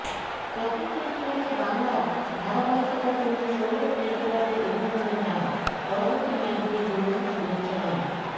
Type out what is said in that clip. প্রথম তিনটি ম্যাচে বাংলার ধারাবাহিকতার জন্য সৌরভ ক্রিকেটারদের অভিনন্দন জানান পরবর্তী ম্যাচগুলির জন্যও শুভেচ্ছা জানান